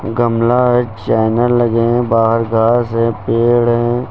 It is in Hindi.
गमला है चैनल लगे हैं बाहर घास है पेड़ हैं।